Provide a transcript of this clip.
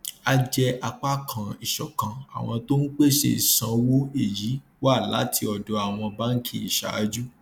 a jẹ apá kan ìṣọkan àwọn tó ń pèsè ìsanwó èyí wá láti ọdọ àwọn báńkì ìṣáájú